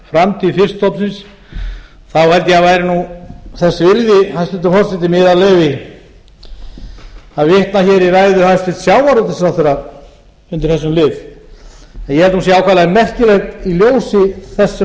framtíð fiskstofnsins þá held ég að væri nú þessi virði hæstvirtur forseti með yðar leyfi að vitna hér í ræðu hæstvirts sjávarútvegsráðherra undir þessum lið ég held að hún sé ákaflega merkileg í ljósi